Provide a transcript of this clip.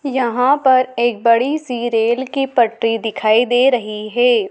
यहाँ पर एक बड़ी सी रेल की पटरी दिखाई दे रही है।